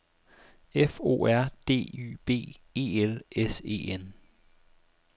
F O R D Y B E L S E N